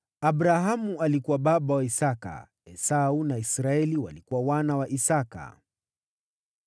Abrahamu alikuwa baba wa Isaki. Wana wa Isaki walikuwa: Esau na Israeli.